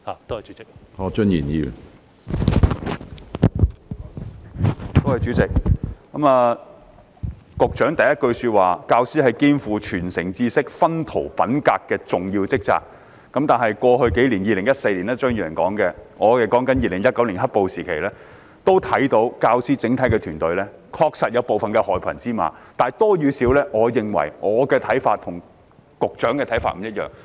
主席，局長在主體答覆的第一句說："教師肩負傳承知識、熏陶品格的重要職責"，但在過去數年——張宇人議員說的是2014年，我則是說2019年的"黑暴"時期——我們看到整個教師團隊確實有部分害群之馬，至於多與少，我認為我的看法和局長的看法不一致。